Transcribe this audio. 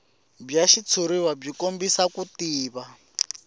bya xitshuriwa byi kombisa ku